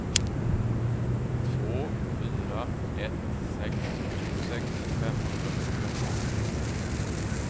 två fyra ett sex tjugosex femhundrafyrtioåtta